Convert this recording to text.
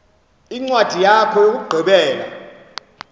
incwadi yakho yokugqibela